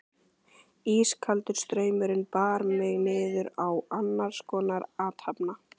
Ískaldur straumurinn bar mig niður á annarskonar athafna